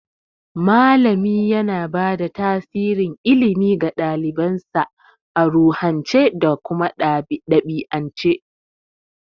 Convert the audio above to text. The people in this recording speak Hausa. Malami yana bada tasirin ilimi ga ɗalibansa a ruhance da ɗabi'ance.